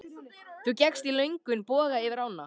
Þú gekkst í löngum boga yfir ána.